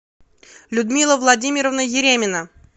людмила владимировна еремина